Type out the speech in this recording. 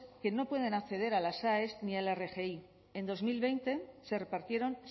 que no pueden acceder a las aes ni a la rgi en dos mil veinte se repartieron